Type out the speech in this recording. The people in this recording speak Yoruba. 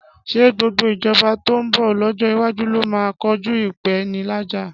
Ṣé gbogbo ìjọba tó ń bọ̀ lọ́jọ́ iwájú ló máa kojú ìpèníjà?